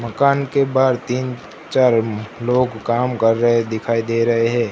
मकान के बाहर तीन चार लोग काम कर रहे हैं दिखाई दे रहे हैं।